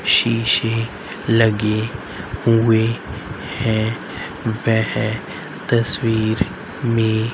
शीशे लगे हुए हैं वह तस्वीर में--